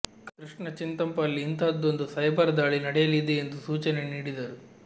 ಕೃಷ್ಣ ಚಿಂತಪಲ್ಲಿ ಇಂಥಹದ್ದೊಂದು ಸೈಬರ್ ದಾಳಿ ನಡೆಯಲಿದೆ ಎಂಬ ಸೂಚನೆ ನೀಡಿದ್ದರು